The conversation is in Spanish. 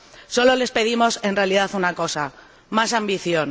Solo les pedimos, en realidad, una cosa más ambición.